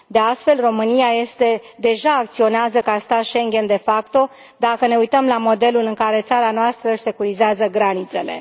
De altfel, România deja acționează ca stat Schengen de facto, dacă ne uităm la modelul în care țara noastră își securizează granițele.